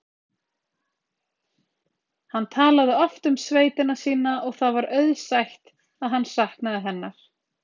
Hann talaði oft um sveitina sína og það var auðsætt að hann saknaði hennar.